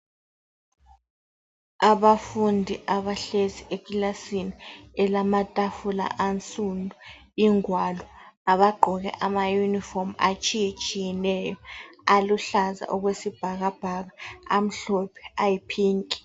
Abafundi abahlezi ekilasini elamatafula ansundu, ingwalo, labagqoke amayunifomu atshiyetshiyeneyo aluhlaza okwesibhakabhaka, amhlophe ayiphinki.